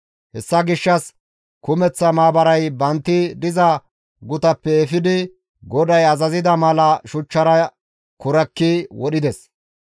Hessa gishshas kumeththa maabaray bantti diza gutappe haraso efidi GODAY azazida mala shuchchara kurakki wodhides.